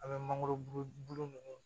An bɛ mangoro bulu ninnu